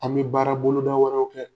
An bi baara bolo da wɛrɛw kɛ.